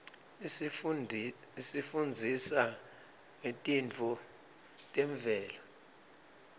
isifundzisa ngetintfo temvelo